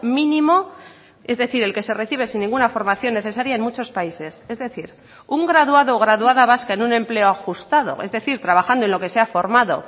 mínimo es decir el que se recibe sin ninguna formación necesaria en muchos países es decir un graduado o graduada vasca en un empleo ajustado es decir trabajando en lo que se ha formado